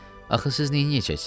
Axı siz neyləyəcəksiz?